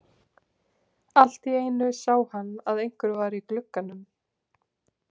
Allt í einu sá hann að einhver var í glugganum.